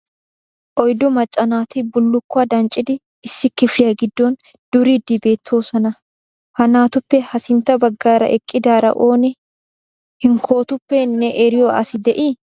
Oyddu macca naati bullukuwa danccidi issi kifiliya giddon duriidi beettoosona. Ha naatuppe ha sintta baggaara eqqidaara oone? Hinkkootuppe ne eriyo asi de'ii?